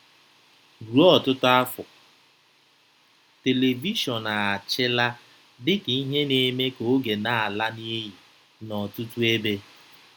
Ruo ọtụtụ afọ, telivishọn achịla dị ka ihe na-eme ka oge na-ala n'iyi n'ọtụtụ ebe.